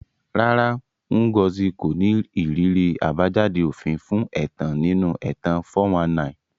Rárá, Ngozi kò ní ìrírí àbájáde òfin fún ẹ̀tàn nínú ẹ̀tàn 419.